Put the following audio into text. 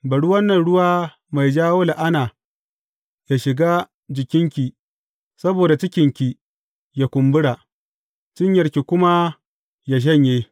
Bari wannan ruwa mai jawo la’ana, yă shiga jikinki saboda cikinki yă kumbura, cinyarki kuma yă shanye.